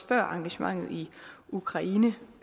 før engagementet i ukraine